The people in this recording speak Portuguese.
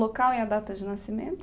Local e a data de nascimento?